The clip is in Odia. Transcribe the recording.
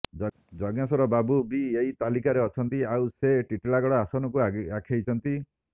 ଯଜ୍ଞେଶ୍ବର ବାବୁ ବି ଏହି ତାଲିକାରେ ଅଛନ୍ତି ଆଉ ସେ ଟିଟଲାଗଡ ଆସନକୁ ଆଖେଇଛନ୍ତି